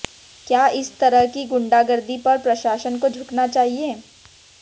क्या इस तरह की गुंडागर्दी पर प्रशासन को झुकना चाहिए